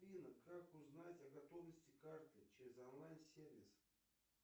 как узнать о готовности карты через онлайн сервис